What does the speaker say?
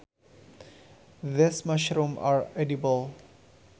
These mushrooms are edible